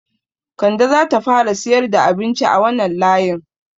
Kande zata fara siyar da abinci a wanan layin